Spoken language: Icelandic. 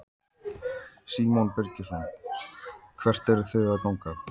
Símon Birgisson: Hvert eruð þið að ganga?